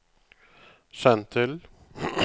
send til